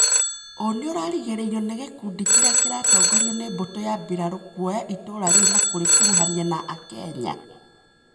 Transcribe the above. ũ nĩũragirĩrĩirio nĩ gĩkundi kĩrĩa kĩratongorio nĩ mbutũ ya mbirarũ kũoya itũra rĩu na kũrĩkũrũhania na akenya